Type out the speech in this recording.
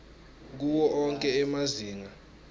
kuwo onkhe emazinga